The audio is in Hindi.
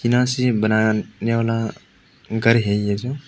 यहां सेब बनाने वाला घर है ये जो।